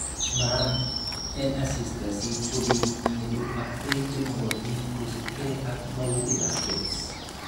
Maa en asista si kobit ingetu ak beek chemogotin kosiibge ak magutik ab Kebs.